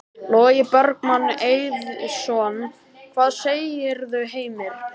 Logi Bergmann Eiðsson: Hvað segirðu, Heimir?